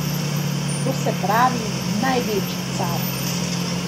To se pravi, največji car.